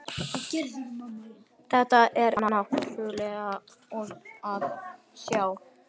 Þetta er náttúrulega tilkomumikið að sjá